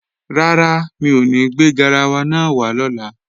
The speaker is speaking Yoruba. Rárá, mi ò ní gbé garawa náà wá lọ́la